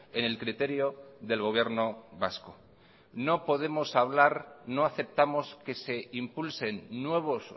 en el criterio del gobierno vasco no podemos hablar no aceptamos que se impulsen nuevos